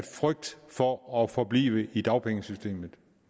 frygt for at forblive i dagpengesystemet